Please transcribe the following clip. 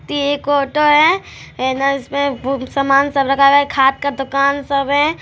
ई एक ऑटो है इसमे बहुत समान सब रखा हुआ है खाद का दुकान सब है।